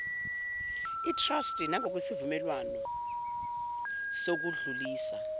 itrasti nangokwesivumelwano sokudlulisa